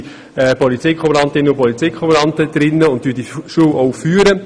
Dort haben Polizeikommandantinnen und kommandanten Einsitz und führen die Schule.